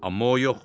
Amma o yox.